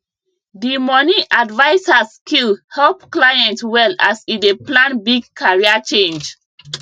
the money adviser skill help client well as e dey plan big career change